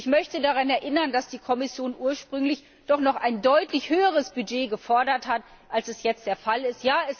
Ich möchte daran erinnern, dass die Kommission ursprünglich doch noch ein deutlich höheres Budget gefordert hat, als jetzt vorgesehen ist.